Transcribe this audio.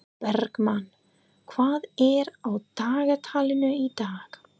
Bergmann, hvað er á dagatalinu í dag?